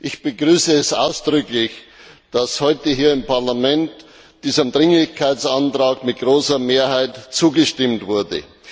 Ich begrüße es ausdrücklich, dass heute hier im Parlament diesem Dringlichkeitsantrag mit großer Mehrheit zugestimmt wurde.